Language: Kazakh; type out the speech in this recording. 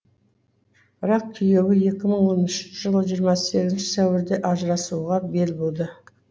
бірақ күйеуі екі мың он үшінші жылы жиырма сегізінші сәуірде ажырасуға бел буды